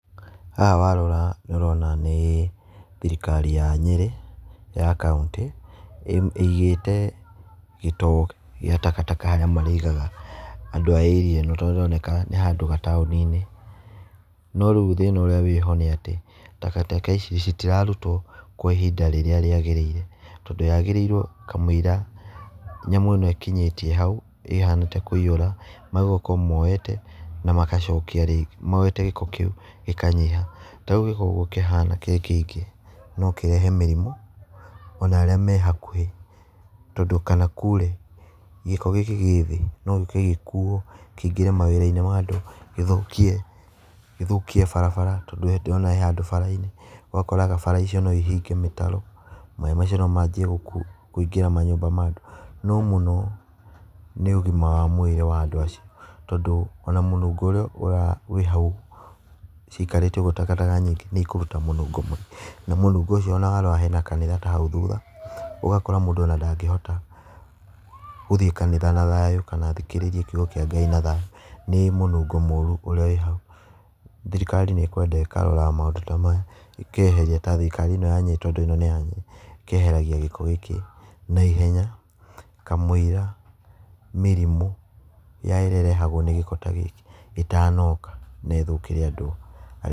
Haha warora nĩũrona nĩ thirikari ya Nyĩrĩ ya kauntĩ ĩigĩte gĩtoo gĩa takataka harĩa marĩigaga andũ a area ĩno, tondũ nĩharoneka nĩ handũ gataũni-inĩ, no rĩu thĩna ũrĩa wĩho, nĩ atĩ takataka ici citirarutwo kwa ihinda rĩrĩa rĩagĩrĩire, tondũ yagĩrĩirwo kamwĩiria nyamũ ĩno ĩkinyĩtie hau ĩhane ta ĩkwĩiyũra magĩrĩirwo gũkorwo moete na magacokia rĩngĩ, moete gĩko kĩu gĩkanyiha, ta rĩu gĩko ũguo kĩhana gĩkĩingĩ, no kĩrehe mĩrimũ ona arĩa me hakuhĩ, tondũ kana kure gĩko gĩkĩ kĩ thĩ nogĩũke gĩkuo, kĩingĩre mawĩra-inĩ ma andũ, gĩthũkie gĩthũkie barabara, tondũ we ndũrona he handũ bara-inĩ, ũgakoraga bara icio noihinge mĩtaro, maĩ macio nomanjie kũingĩra manyũmba ma andũ, no mũno nĩ ũgima wa mwĩrĩ wa andũ acio, tondũ ona mũnungo ũrĩa wĩ hau cikarĩte ũguo takataka nyingĩ nĩikũruta mũnungo na mũnungo ũcio ona warora hena kanitha ta hau thutha, ũgakora mũndũ ona ndangĩhota gũthiĩ kanitha na thayũ kana athikĩrĩrie kiugo kĩa Ngai na thayũ, nĩ mũnungo mũru ũrĩa wĩ hau, thirikari nĩ kwenda ĩkaroraga maũndũ ta maya ĩkeheria, ta thirikari ĩno ya Nyĩrĩ, tondũ ĩno nĩ ya Nyĩrĩ ĩkeheragia gĩko gĩkĩ naihenya kamũira mĩrimũ ya ĩrĩa ĩrehagwo nĩ gĩko ta gĩkĩ ĩtanoka na ĩthũkĩre andũ a...